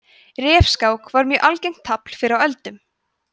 refskák var mjög algengt tafl fyrr á öldum